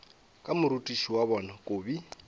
ka morutiši wa bona kobi